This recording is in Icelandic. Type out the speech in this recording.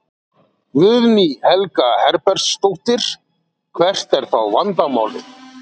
Guðný Helga Herbertsdóttir: Hvert er þá vandamálið?